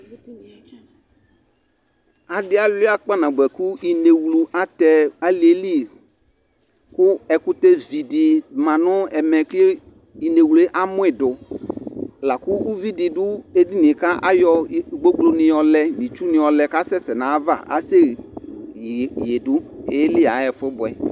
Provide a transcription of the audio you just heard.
adi awlia kpa nabʋɛ kʋ inɛwlʋ atɛ aliɛli kʋ ɛkʋtɛ vii di manʋ ɛmɛ kʋ inɛwlʋɛ amʋi dʋ lakʋ ʋvidi dʋ ɛdiniɛ kʋ ayɔ gbɔgblɔ di yɔlɛ nʋ itsʋ di yɔlɛ kʋ asɛsɛ nʋ aɣa, asɛ yɛdʋya ɛƒʋ bʋɛ